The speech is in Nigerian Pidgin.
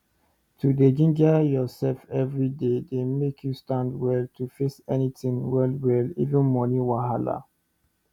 to dey ginger ursef everyday dey make you stand well to face anytin well well even moni wahala